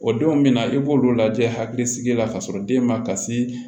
O denw bɛna i b'olu lajɛ hakilisigi la ka sɔrɔ den ma kasi